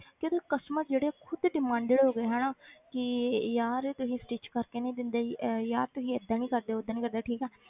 ਕਿ ਉਹਦੇ customer ਜਿਹੜੇ ਖੁੱਦ demanded ਹੋ ਗਏ ਹਨਾ ਕਿ ਯਾਰ ਤੁਸੀਂ stitch ਕਰਕੇ ਨੀ ਦਿੰਦੇ ਅਹ ਯਾਰ ਤੁਸੀਂ ਏਦਾਂ ਨੀ ਕਰਦੇ ਓਦਾਂ ਨੀ ਕਰਦੇ ਠੀਕ ਆ।